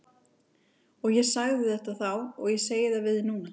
Og ég sagði þetta þá og ég segi það við þig núna.